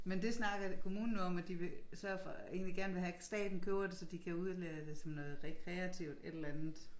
Men dét snakkede kommunen om at de vil sørge for egentlig gerne vil have staten køber det så de kan udlade det som noget rekreativt et eller andet